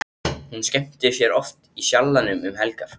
Hún skemmtir sér oft í Sjallanum um helgar.